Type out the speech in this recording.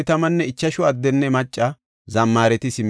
gimaleta tayboy 435; hareta tayboy 6,720.